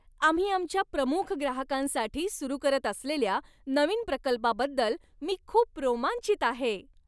आम्ही आमच्या प्रमुख ग्राहकांसाठी सुरू करत असलेल्या नवीन प्रकल्पाबद्दल मी खूप रोमांचित आहे.